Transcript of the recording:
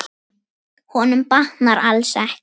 Honum batnar alls ekki.